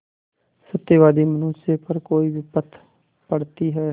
सत्यवादी मनुष्य पर कोई विपत्त पड़ती हैं